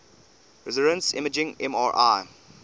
resonance imaging mri